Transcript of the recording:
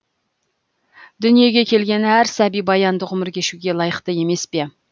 дүниеге келген әр сәби баянды ғұмыр кешуге лайықты емес пе